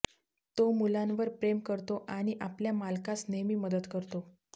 तो मुलांवर प्रेम करतो आणि आपल्या मालकास नेहमी मदत करतो